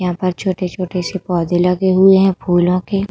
यहां पर छोटे छोटे से पौधे लगे हुए हैं फूलों के।